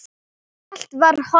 Allt var horfið.